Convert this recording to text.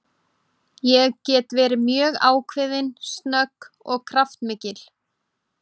Ég get verið mjög ákveðin, snögg og kraftmikil.